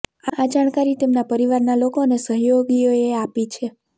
આ જાણકારી તેમના પરિવારના લોકો અને સહયોગીઓએ આપી છે